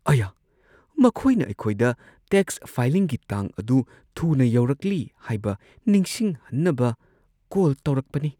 ꯑꯌꯥ! ꯃꯈꯣꯏꯅ ꯑꯩꯈꯣꯏꯗ ꯇꯦꯛꯁ ꯐꯥꯏꯂꯤꯡꯒꯤ ꯇꯥꯡ ꯑꯗꯨ ꯊꯨꯅ ꯌꯧꯔꯛꯂꯤ ꯍꯥꯏꯕ ꯅꯤꯡꯁꯤꯡꯍꯟꯅꯕ ꯀꯣꯜ ꯇꯧꯔꯛꯄꯅꯤ꯫